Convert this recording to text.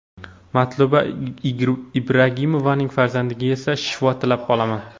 Matluba Ibragimovaning farzandiga esa shifo tilab qolaman.